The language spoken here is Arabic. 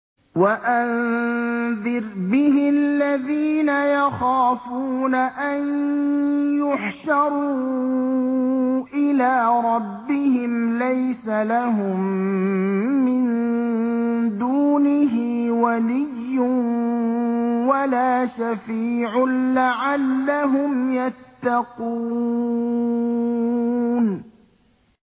وَأَنذِرْ بِهِ الَّذِينَ يَخَافُونَ أَن يُحْشَرُوا إِلَىٰ رَبِّهِمْ ۙ لَيْسَ لَهُم مِّن دُونِهِ وَلِيٌّ وَلَا شَفِيعٌ لَّعَلَّهُمْ يَتَّقُونَ